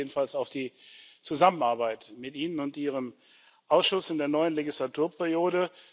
Wir freuen uns jedenfalls auf die Zusammenarbeit mit Ihnen und Ihrem Ausschuss in der neuen Wahlperiode.